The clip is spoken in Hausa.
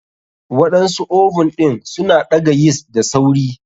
Waɗansu oven ɗin suna ɗaga yeast da sauri.